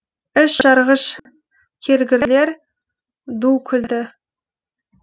іш жарғыш келгірлер ду күлді